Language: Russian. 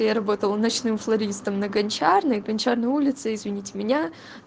я работала в ночную флористом на гончарной гончарной улицы извините меня